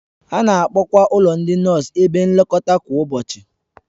A na-akpọkwa ụlọ ndị nọọsụ ebe nlekọta kwa ụbọchị